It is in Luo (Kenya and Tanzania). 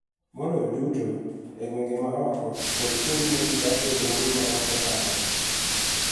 Maloyo duto e gwenge ma oko kod kuonde ma ji dak e bombe ma ok ochanore.